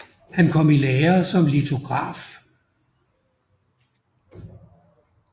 Han kom i lære som litograf